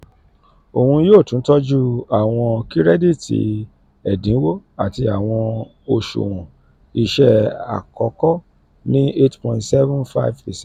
oun yoo tun tọju awọn kirẹditi ẹdinwo ati awọn oṣuwọn iṣẹ akọkọ ni eight point seven five percent